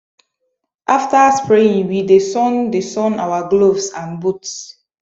after spraying we dey sun dey sun our gloves and boots